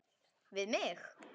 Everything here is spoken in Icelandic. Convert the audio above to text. Við mig.